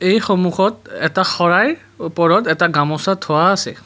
এই সন্মুখত এটা শৰাই ওপৰত এটা গামোচা থোৱা আছে।